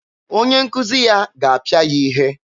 Onye nkuzi ya ga-apịa ya ihe.